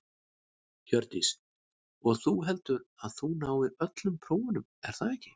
Hjördís: Og þú, heldurðu að þú náir öllum prófunum er það ekki?